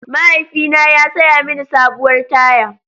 Mahaifina ya saya mini sabuwar taya.